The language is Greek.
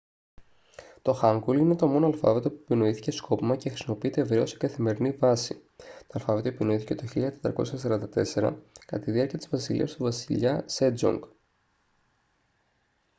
το χάνγκουλ είναι το μόνο αλφάβητο που επινοήθηκε σκόπιμα και χρησιμοποιείται ευρέως σε καθημερινή βάση. το αλφάβητο επινοήθηκε το 1444 κατά τη διάρκεια της βασιλείας του βασιλιά σέτζονγκ. 1418-1450